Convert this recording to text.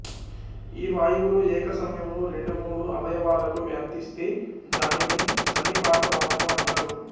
ఈ వాయువులు ఏక సమయంలో రెండు మూడు అవయవాలకు వ్యాపిస్తే దానిని సన్నిపాత వాతము అంటారు